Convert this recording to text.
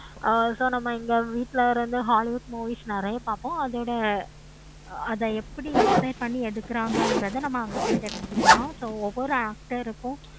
ஆஹ் so நம்ம இந்த வீட்டுல இருந்து hollywood movies நெறைய பாப்போம். அதோட அத எப்படி inside பண்ணி எடுக்குறாங்க நம்ம அங்க போய் தெரிஜிக்கலாம். so ஒவ்வொரு actor க்கும்